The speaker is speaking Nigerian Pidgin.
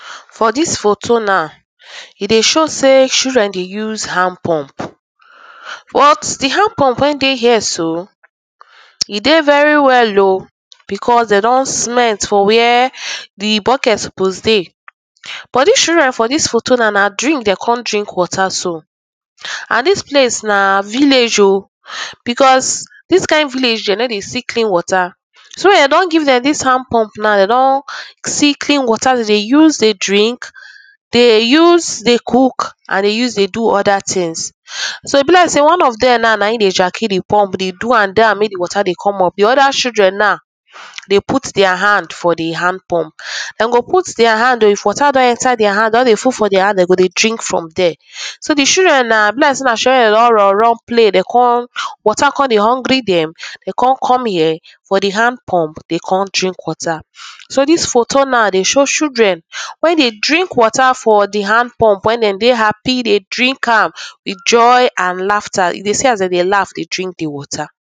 For dis photo now, e dey show sey children dey use hand pump but di hand pump wey dey here so e dey very well oh becos dem don cemete for where di bucket suppose dey but dis children for dis photo now na drink dey kon drink water so and dis place na village oh becos dis kind village dey no dey see clean water, so dem don give dem dis hand pump now dey don see clean water dey dey use dey drink, dey dey use dey cook and dey use dey do oda tins so e be like one of dem now naim dey jacky dey pump dey do am down wey di water dey come up, di oda children now dey put dia hand for di hand pump, dey go put dia hand oh if water don enter dia hand don dey full for dia hand, don dey full for dia hand dey go drink from dere. So di children now e be like sey na children wey don run run play, dey kon water kon dey hungry dem, dem kon come here for di hand pump dey kon drink water. So dis photo now dey show children wey dey drink water from di hand pump, wen dey dey happy dey drink am with joy and laffta, you dey see as dey dey laff dey drink di water.